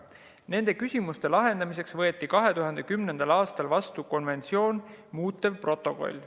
Nende küsimuste lahendamiseks võeti 2010. aastal vastu konventsiooni muutev protokoll.